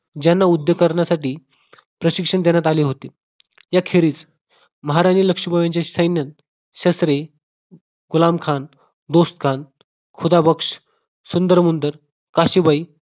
ज्यांना उद्योग करण्यासाठी प्रशिक्षण देण्यात आले होते याखेरीस महाराणी लक्ष्मीबाईंचे सैन्य शस्त्रे कोलाम खान तोसकान खुदाबक्ष सुंदरमुंदर काशीबाई